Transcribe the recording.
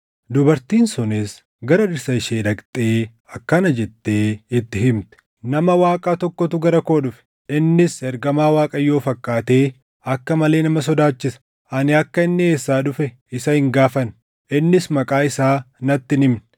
Dubartiin sunis gara dhirsa ishee dhaqxee akkana jettee itti himte; “Nama Waaqaa tokkotu gara koo dhufe. Innis ergamaa Waaqayyoo fakkaatee akka malee nama sodaachisa. Ani akka inni eessaa dhufe isa hin gaafanne; innis maqaa isaa natti hin himne.